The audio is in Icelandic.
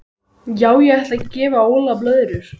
Já ég ætla að gefa Óla blöðrur.